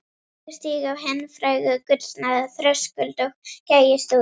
Ég stíg á hinn fræga gullna þröskuld og gægist út.